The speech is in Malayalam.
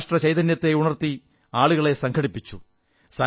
രാഷ്ട്ര ചൈതന്യത്തെ ഉണർത്തി ആളുകളെ സംഘടിപ്പിച്ചു